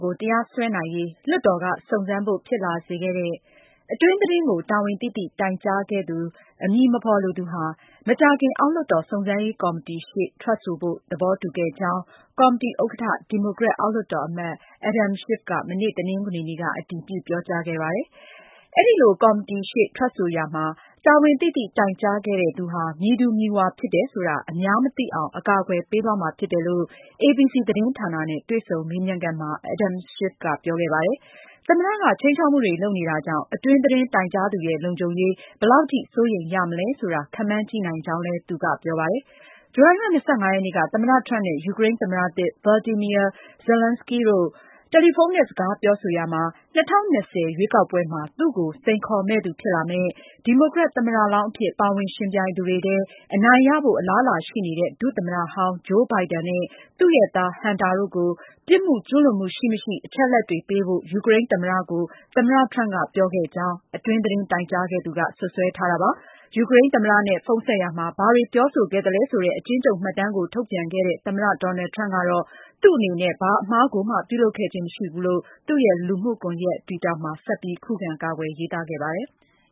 ကို တရားစွဲနိုင်ရေး လွှတ်တော်က စုံစမ်းဖို့ ဖြစ်လာစေခဲ့တဲ့ အတွင်းသတင်းကို တာဝန်သိသိ တိုင်ကြားခဲ့သူ အမည်မဖော်လိုသူဟာ မကြာခင် အောက်လွှတ်တော် စုံစမ်းရေးကော်မတီရှေ့ ထွက်ဆိုဖို့ သဘောတူခဲ့ကြောင်း ကော်မတီဥက္ကဋ္ဌ ဒီမိုကရက် အောက်လွှတ်တော်အမတ် Adam Schiff က မနေ့ တနင်္ဂနွေနေ့က အတည်ပြု ပြောကြားခဲ့ပါတယ်။ အဲဒီလို ကော်တီရှေ့ ထွက်ဆိုရာမှာ တာဝန်သိသိ တိုင်ကြားခဲ့တဲ့သူဟာ မည်သူမည်ဝါဖြစ်တယ်ဆိုတာ အများမသိအောင် အကာအကွယ်ပေးသွားမှာ ဖြစ်တယ်လို့ ABC သတင်းဌာနနဲ့ တွေ့ဆုံမေးမြန်းခန်းမှာ Adam Schiff က ပြောခဲ့ပါတယ်။ သမ္မတက ခြိမ်းခြောက်မှုတွေ လုပ်နေတာကြောင့် အတွင်းသတင်း တိုင်ကြားသူရဲ့ လုံခြုံရေး ဘယ်လောက်ထိ စိုးရိမ်ရမလဲ ခန့်မှန်းကြည့်နိုင်ကြောင်းလည်း သူက ဆိုပါတယ်။ ဇူလိုင်လ ၂၅ ရက်နေ့က သမ္မတ Trump နဲ့ ယူကရိန်းသမ္မတသစ် Volodymyr Zelenskiy တို့ တယ်လီဖုန်းနဲ့ စကားပြောဆိုရာမှာ ၂၀၂၀ ရွေးကောက်ပွဲမှာ သူ့ကို စိန်ခေါ်မယ့်သူ ဖြစ်လာမယ့်၊ ဒီမိုကရက် သမ္မတလောင်းအဖြစ် ပါဝင်ယှဉ်ပြိုင်သူတွေထဲ အနိုင်ရဖို့ အလားအလာရှိနေတဲ့ ဒုသမ္မတဟောင်း Joe Biden နဲ့ သူ့ရဲ့သား Hunter တို့ကို ပြစ်မှုကျူးလွန်မှု ရှိမရှိ အချက်အလက်တွေပေးဖို့ ယူကရိန်းသမ္မတကို သမ္မတ Trump က ပြောခဲ့ကြောင်း အတွင်းသတင်း တိုင်ကြားခဲ့သူက စွပ်စွဲထားတာပါ။ ယူကရိန်းသမ္မတနဲ့ ဖုန်းဆက်ရာမှာ ဘာတွေပြောဆိုခဲ့သလဲဆိုတဲ့ အကျဉ်းချုပ်မှတ်တမ်းကို ထုတ်ပြန်ခဲ့တဲ့ သမ္မတ Donald Trump ကတော့ သူ့အနေနဲ့ ဘာအမှားကိုမှ ပြုလုပ်ခဲ့ခြင်း မရှိဘူးလို့ သူ့ရဲ့ လူမှုကွန်ရက် Twitter မှာ ဆက်ပြီး ခုခံကာကွယ် ရေးသားခဲ့ပါတယ်။